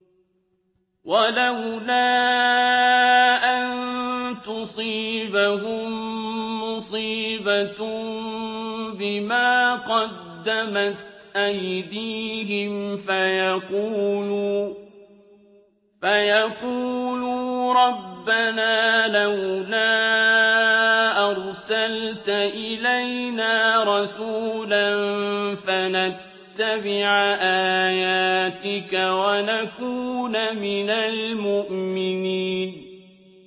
وَلَوْلَا أَن تُصِيبَهُم مُّصِيبَةٌ بِمَا قَدَّمَتْ أَيْدِيهِمْ فَيَقُولُوا رَبَّنَا لَوْلَا أَرْسَلْتَ إِلَيْنَا رَسُولًا فَنَتَّبِعَ آيَاتِكَ وَنَكُونَ مِنَ الْمُؤْمِنِينَ